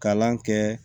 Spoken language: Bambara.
Kalan kɛ